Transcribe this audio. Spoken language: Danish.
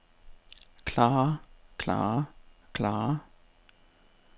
klarer klarer klarer